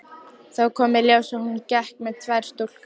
Þá kom í ljós að hún gekk með tvær stúlkur.